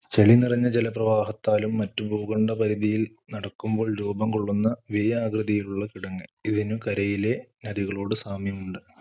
ചെളി നിറഞ്ഞ ജലപ്രവാഹത്താലും മറ്റും ഭൂഖണ്ഡപരിധിയിൽ നടക്കുമ്പോൾ രൂപം കൊള്ളുന്ന V ആകൃതിയുള്ള കിടങ്ങ്. ഇതിനു കരയിലെ നദികളോട് സാമ്യമുണ്ട്.